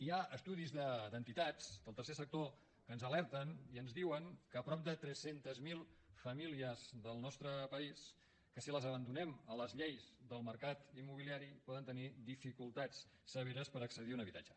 hi ha estudis d’entitats del tercer sector que ens alerten i ens diuen que prop de tres cents miler famílies del nostre país si les abandonem a les lleis del mercat immobiliari poden tenir dificultats severes per accedir a un habitatge